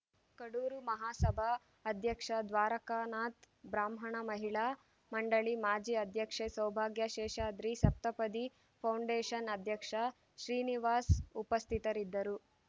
ಕಡೂರು ಮಹಾಸಭಾ ಅಧ್ಯಕ್ಷ ದ್ವಾರಕಾನಾಥ್‌ ಬ್ರಾಹ್ಮಣಾ ಮಹಿಳಾ ಮಂಡಳಿ ಮಾಜಿ ಅಧ್ಯಕ್ಷೆ ಸೌಭಾಗ್ಯ ಶೇಷಾದ್ರಿ ಸಪ್ತಪದಿ ಫೌಂಡೇಶನ್‌ ಅಧ್ಯಕ್ಷ ಶ್ರೀನಿವಾಸ್‌ ಉಪಸ್ಥಿತರಿದ್ದರು